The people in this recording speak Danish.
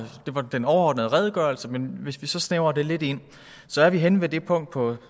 det var den overordnede redegørelse men hvis vi så snævrer det lidt ind så er vi henne ved det punkt på